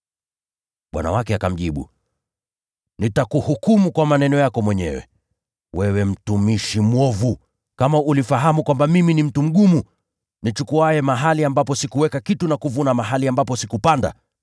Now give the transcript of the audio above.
“Bwana wake akamjibu, ‘Nitakuhukumu kwa maneno yako mwenyewe, wewe mtumishi mwovu! Kama ulifahamu kwamba mimi ni mtu mgumu, nichukuaye mahali ambapo sikuweka kitu na kuvuna mahali ambapo sikupanda,